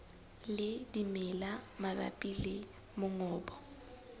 le dimela mabapi le mongobo